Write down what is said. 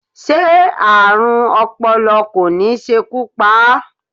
Ṣé Ààrùn ọpọlọ kò ní ṣekú pa á?